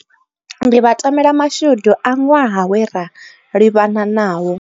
Ndi vha tamela mashudu a ṅwaha we ra livhana nawo.